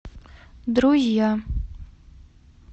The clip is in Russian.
друзья